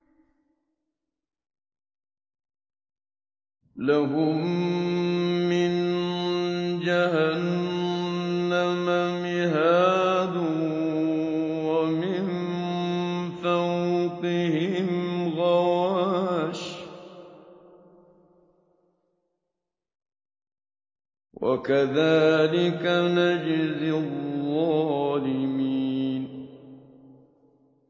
لَهُم مِّن جَهَنَّمَ مِهَادٌ وَمِن فَوْقِهِمْ غَوَاشٍ ۚ وَكَذَٰلِكَ نَجْزِي الظَّالِمِينَ